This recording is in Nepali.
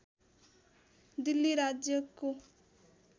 दिल्ली राज्यको